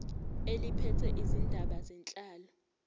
eliphethe izindaba zenhlalo